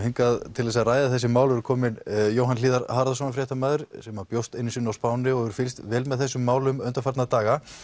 til þess að ræða þessi mál eru komin Jóhann hlíðar Harðarson fréttamaður sem bjó einu sinni á Spáni og hefur fylgst vel með þessum málum undanfarna daga